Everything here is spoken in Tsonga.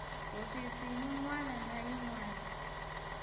hofisi yin wana na yin